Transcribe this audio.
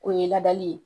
O ye ladali ye